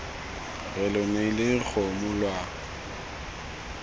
re lo neile dikgomo lwa